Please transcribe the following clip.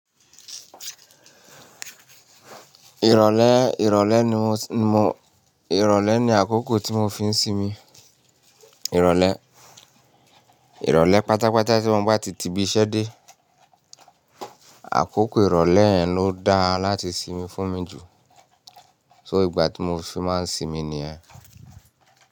Ìrọ̀lẹ́, ìrọ̀lẹ́ ní mó, ní mó, ìrọ̀lẹ́ ní àkókò tí mó fi ń sínmí. Ìrọ̀lẹ́, ìrọ̀lẹ́ pátápátá tí wọ́n ń bá ti tìbí ṣẹ́ dé. Àkókò ìrọ̀lẹ́ yẹn ló da láti sínmí fún mi jù. So ìgbà tí mó fí máa ń sínmí ní yẹn.